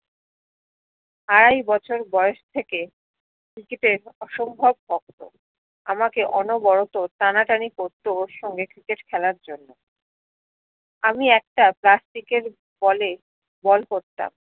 আড়াই বছর বয়স থেকে ক্রিকেটে অসম্ভব আমাকে অনবরত টানা টানাই করতো ওর সঙ্গে ক্রিকেট খেলার জন্য আমি একটা প্লাস্টিকের বলে বল করতাম